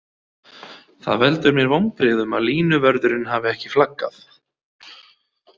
Það veldur mér vonbrigðum að línuvörðurinn hafi ekki flaggað.